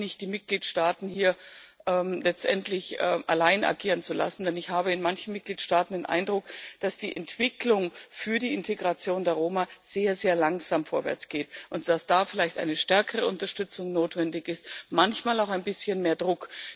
Es reicht nicht, die Mitgliedstaaten hier letztendlich allein agieren zu lassen, denn ich habe in manchen Mitgliedstaaten den Eindruck, dass die Entwicklung für die Integration der Roma sehr, sehr langsam vorwärts geht und dass da vielleicht eine stärkere Unterstützung notwendig ist, manchmal auch ein bisschen mehr Druck.